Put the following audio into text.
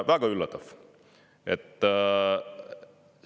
Väga üllatav!